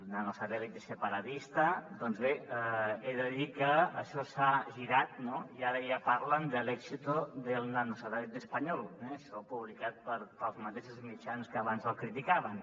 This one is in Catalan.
nanosatélite bé he de dir que això s’ha girat no i ara ja parlen de el éxito del nanosatélite español eh això publicat pels mateixos mitjans que abans el criticaven